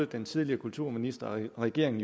den tidligere kulturminister og regering